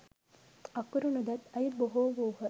අකුරු නොදත් අය බොහෝ වූහ.